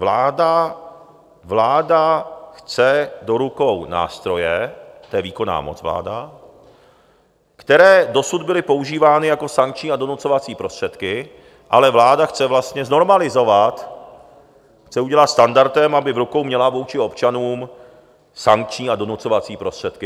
Vláda chce do rukou nástroje - to je výkonná moc, vláda - které dosud byly používány jako sankční a donucovací prostředky, ale vláda chce vlastně znormalizovat, chce udělat standardem, aby v rukou měla vůči občanům sankční a donucovací prostředky.